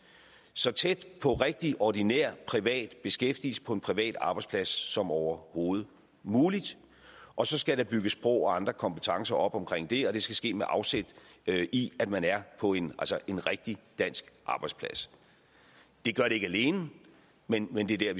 så tæt på rigtig ordinær privat beskæftigelse på en privat arbejdsplads som overhovedet muligt og så skal der bygges sprog og andre kompetencer op omkring det og det skal ske med afsæt i at man er på en en rigtig dansk arbejdsplads det gør det ikke alene men men det det er